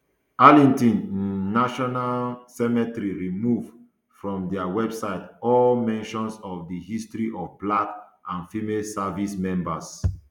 arlington um national um cemetery remove from dia website all mentions of di history of black and female service members